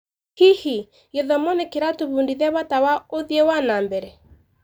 Hihi, gĩthomo nĩ kĩratũbundithia bata wa ũthii wa na mbere?